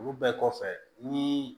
Olu bɛɛ kɔfɛ ni